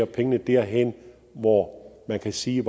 pengene derhen hvor man kan sige